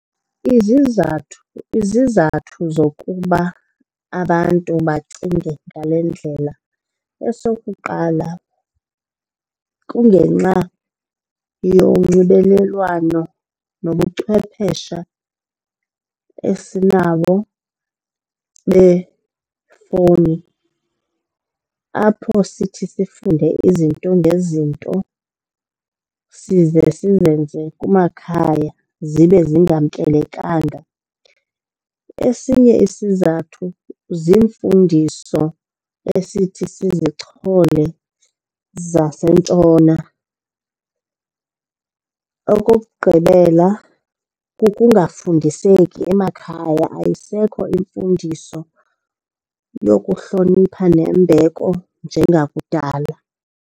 Izizathu, izizathu zokuba abantu bacinge ngale ndlela, esokuqala kungenxa yonxibelelwano nobuchwephesha esinabo befowuni apho sithi sifunde izinto ngezinto size sizenze kumakhaya zibe zingamkelekanga. Esinye isizathu ziimfundiso esithi sizichole zaseNtshona. Okokugqibela, kukungafundiseki emakhaya, ayisekho imfundiso yokuhlonipha nembeko njengakudala.